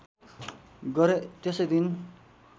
गरे त्यसै दिन